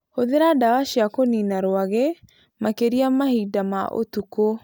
Hũthĩra ndawa cia kũniina rwagĩ, makĩria mahinda ma ũtukũ